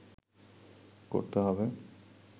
করতে হবে